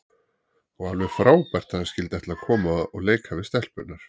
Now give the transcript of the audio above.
Og alveg frábært að hann skyldi ætla að koma og leika við stelpurnar.